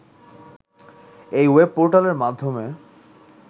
এই ওয়েব পোর্টালের মাধ্যমে